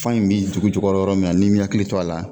Fa in bɛ dugu jukɔrɔ yɔrɔ min na, n'i mi hakili to a la